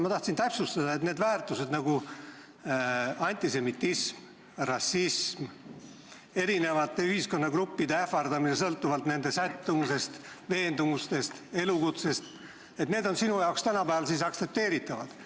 Ma tahaks täpsustada, kas sellised väärtused nagu antisemitism, rassism, teatud ühiskonnagruppide ähvardamine sõltuvalt nende sättumusest, veendumustest, elukutsest on sinu arvates tänapäeval ikkagi aktsepteeritavad.